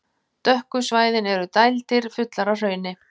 Dökku svæðin eru dældir, fullar af hrauni.